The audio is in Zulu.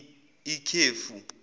ikhefu